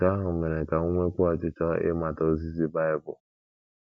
Nke ahụ mere ka m nwekwuo ọchịchọ ịmata ozizi Bible.